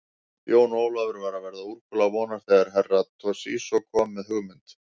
Jón Ólafur var að verða úrkula vonar þegar Herra Toshizo kom með hugmynd.